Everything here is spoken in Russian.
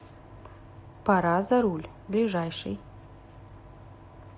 пора за руль ближайший